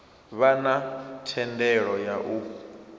vha na thendelo ya u